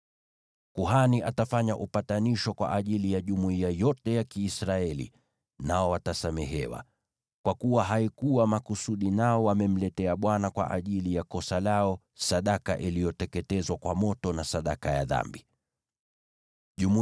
Kuhani atafanya upatanisho kwa ajili ya jumuiya yote ya Kiisraeli, nao watasamehewa, kwa kuwa haikuwa makusudi nao wamemletea Bwana sadaka iliyoteketezwa kwa moto na sadaka ya dhambi kwa ajili ya kosa lao.